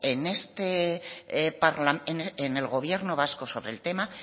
en el gobierno vasco sobre el tema